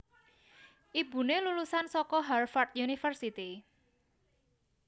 Ibuné lulusan saka Harvard University